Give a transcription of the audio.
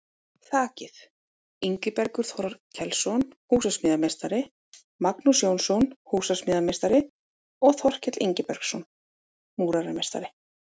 Þakið: Ingibergur Þorkelsson, húsasmíðameistari, Magnús Jónsson, húsasmíðameistari og Þorkell Ingibergsson, múrarameistari.